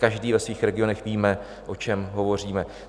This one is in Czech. Každý ve svých regionech víme, o čem hovoříme.